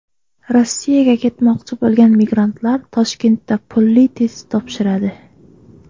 Rossiyaga ketmoqchi bo‘lgan migrantlar Toshkentda pulli test topshiradi .